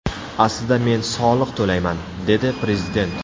Aslida, men soliq to‘layman”, – dedi prezident.